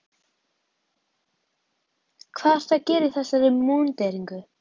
Hvað ertu að gera í þessari múnderingu?